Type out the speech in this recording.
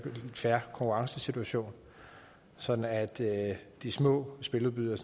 fair konkurrencesituation sådan at de små spiludbydere